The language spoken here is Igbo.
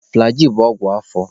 Flagịị bụ ọgwụ afọ.